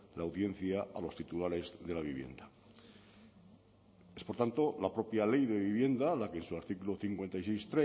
la audiencia a los titulares de la vivienda es por tanto la propia ley de vivienda la que en su artículo cincuenta y seis